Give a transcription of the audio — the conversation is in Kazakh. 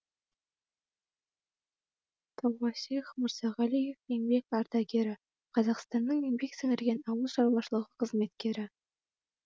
тауасих мырзағалиев еңбек ардагері қазақстанның еңбек сіңірген ауыл шаруашылығы қызметкері